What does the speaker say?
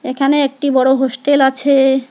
এখানে একটি বড় হোস্টেল আছে।